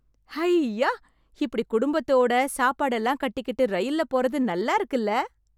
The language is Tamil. ஹைய்யா... இப்டி குடும்பத்தோட, சாப்பாடெல்லாம் கட்டிக்கிட்டு ரயில்ல போறது நல்லா இருக்குல்ல...